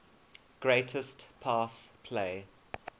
greatest pass play